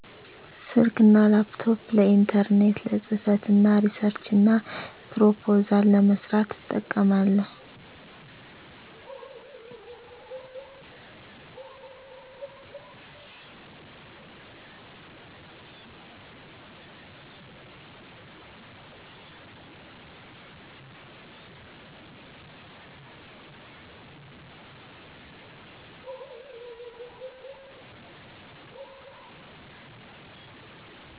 ስልክና ላፕቶፕ ለኢንተርኔት፣ ለፅህፈትና ሪሰርችና ፕሮፖዛል ለመስራት አጠቀማለሁ